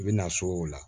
I bɛ na s'o la